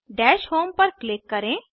दश होम पर क्लिक करें